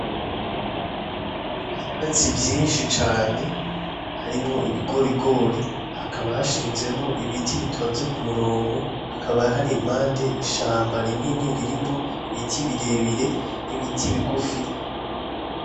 Ivyatsi vyishi cane harimwo ibigorigori haka hashinzemwo ibiti bitonze kumurongo hakaba hari impande ishamba rinini ririmwo ibiti birebire n'ibiti bigufi